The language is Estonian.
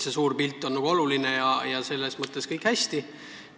See suur pilt on oluline ja selles mõttes kõik on hästi.